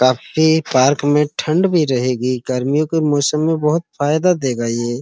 काफी पार्क में ठंड भी रहेगी। गर्मीयो के मौसम में बोहोत फायदा देगा ये।